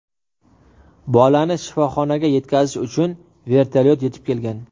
Bolani shifoxonaga yetkazish uchun vertolyot yetib kelgan.